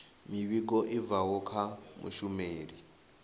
muvhigo i bvaho kha mushumeli